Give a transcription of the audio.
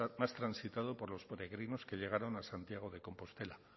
más transitado por los peregrinos que llegaron a santiago de compostela